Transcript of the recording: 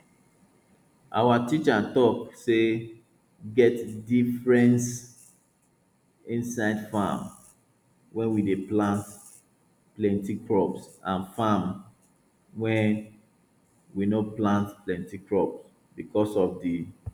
our teacher talk say get difference inside farm wey we dey plant plenti crop and farm wey we no plant plenti crop because of di